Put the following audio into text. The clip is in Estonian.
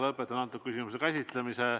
Lõpetan antud küsimuse käsitlemise.